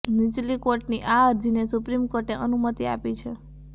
નીચલી કોર્ટની આ અરજીને સુપ્રીમ કોર્ટે અનુમતિ આપી છે